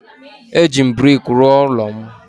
Eji brik rụọ ụlọ m